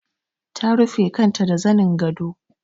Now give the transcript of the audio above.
Ta rufe kanta da zanin gado.